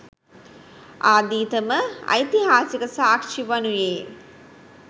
ආදීතම ඓතිහාසික සාක්ෂිය වනුයේ